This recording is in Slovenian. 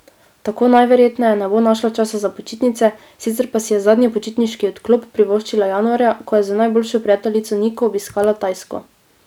Tako najverjetneje ne bo našla časa za počitnice, sicer pa si je zadnji počitniški odklop privoščila januarja, ko je z najboljšo prijateljico Niko obiskala Tajsko.